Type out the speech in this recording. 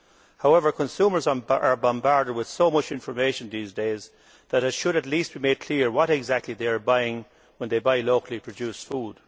However, consumers are bombarded with so much information these days that it should at least be made clear what exactly they are buying when they buy locally produced food.